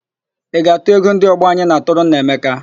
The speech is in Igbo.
Ị ga-atụ ego ndị ọgbọ anyị na-atụrụ Nneamaka?